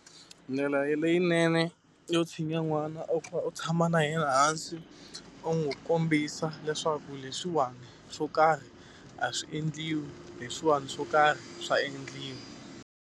Ndlela leyinene yo tshinya n'wana i ku va u tshama na yena hansi, u n'wi kombisa leswaku leswiwani swo karhi a swi endliwi, leswiwani swo karhi swa endliwa.